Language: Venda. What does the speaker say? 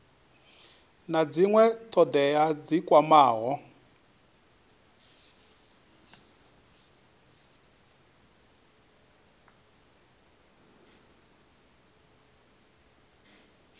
na dzinwe thodea dzi kwamaho